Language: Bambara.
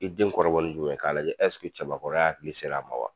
I den kɔrɔbɔli jumɛn k'a lajɛ ɛseke cɛbakɔrɔya hakili ser'a ma wa ?